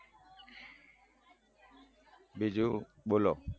બીજું બોલો